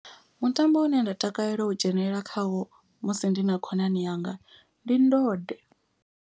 Mutambo une nda takalela u dzhenelela khawo musi ndi na khonani yanga ndi ndode.